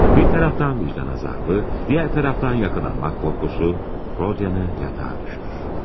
Bir tərəfdən vicdan əzabı, digər tərəfdən yaxalanmaq qorxusu Rodion'ı yatağa düşürür.